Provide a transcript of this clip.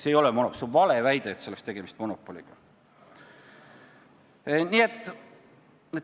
See ei ole monopol, see on valeväide!